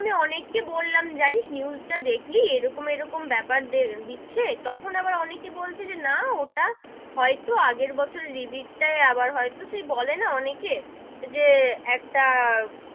আমি অনেক কে বললাম জানিস news টা দেখলি, এরকম এরকম বেপার দিচ্ছে, তখন আবার অনেকেই বলছে যে না ওটা হয়তো আগের বছর repeat টাই হয়তো সেই বলে না অনেকেই, যে একটা,